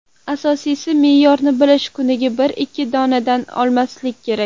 Asosiysi, me’yorni bilish: kuniga bir-ikki donadan oshmasligi kerak.